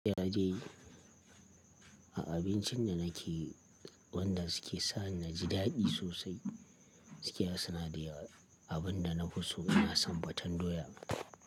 Ya je a abincin da nake, wanda suke sa ni naji daɗi sosai. Gaskiya suna da yawa abin da na fi so, ina son faten doya.